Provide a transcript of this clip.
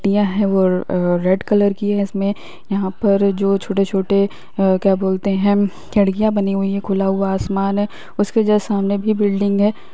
पट्टियां हैं वो अ रेड कलर की हैं इसमें यहाँ पर जो छोटे-छोटे अ क्या बोलते हैं खिड़कियाँ बनी हुई हैं खुला हुआ आसमान है उसके जस्ट सामने भी बिल्डिंग है।